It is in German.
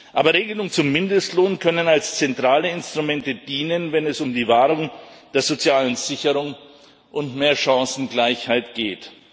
Aber Regelungen zum Mindestlohn können als zentrale Instrumente dienen, wenn es um die Wahrung der sozialen Sicherung und mehr Chancengleichheit geht.